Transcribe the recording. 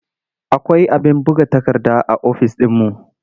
Akwai abin buga takarda a ofis ɗinmu.